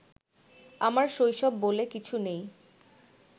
আমার শৈশব বলে কিছু নেই